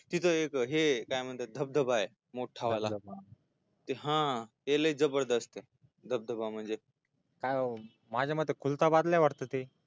तिथे हे काय म्हणतात धबधबाय मोठा हा तो लय जबरदस्तय धबधबा म्हणजे